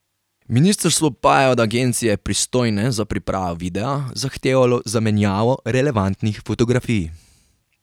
Ministrstvo pa je od agencije, pristojne za pripravo videa, zahtevalo zamenjavo relevantnih fotografij.